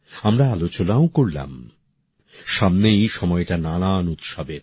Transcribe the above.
আমরা আলোচনাও করলাম সামনেই সময়টা নানা উৎসবের